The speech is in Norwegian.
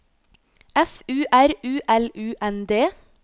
F U R U L U N D